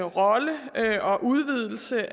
rolle og udvidelse